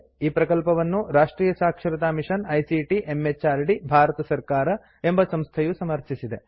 ಈ ಪ್ರಕಲ್ಪವನ್ನು ರಾಷ್ಟ್ರಿಯ ಸಾಕ್ಷರತಾ ಮಿಷನ್ ಐಸಿಟಿ ಎಂಎಚಆರ್ಡಿ ಭಾರತ ಸರ್ಕಾರ ಎಂಬ ಸಂಸ್ಥೆಯು ಸಮರ್ಥಿಸಿದೆ